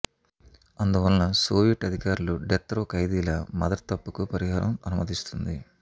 అందువలన సోవియట్ అధికారులు death row ఖైదీల మదర్ తప్పుకు పరిహారం అనుమతిస్తుంది